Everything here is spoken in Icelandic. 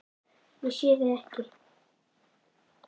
Ég sé þig ekki.